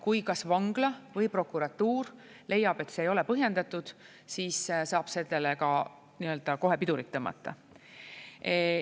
Kui kas vangla või prokuratuur leiab, et see ei ole põhjendatud, siis saab sellele kohe pidurit tõmmata.